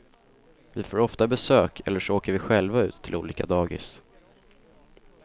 Vi får ofta besök eller så åker vi själva ut till olika dagis.